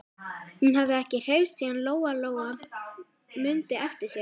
Hún hafði ekki hreyfst síðan Lóa-Lóa mundi eftir sér.